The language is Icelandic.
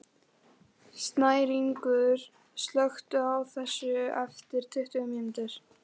Snæringur, slökktu á þessu eftir tuttugu mínútur.